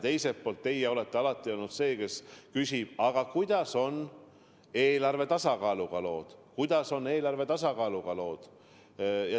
Teiselt poolt teie olete alati olnud see, kes küsib, kuidas on lood eelarve tasakaaluga.